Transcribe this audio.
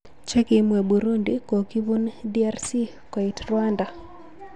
Chekimwee Burundi kokipun DRC koit Rwanda